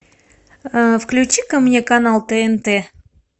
включи ка мне канал тнт